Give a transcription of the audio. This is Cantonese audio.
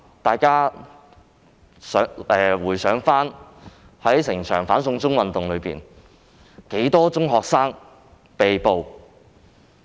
大家試回想，在整個"反送中"運動中共有多少名中學生被捕？